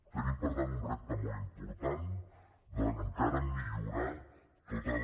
tenim per tant un repte molt important d’encara millorar tota la